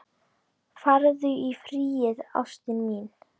Farðu í friði, ástin mín.